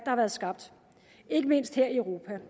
har skabt ikke mindst her i europa